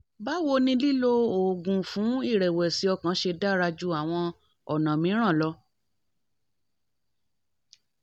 báwo ni lílo oògùn fún ìrẹ̀wẹ̀sì ọkàn ṣe dára ju àwọn ọ̀nà mìíràn lọ?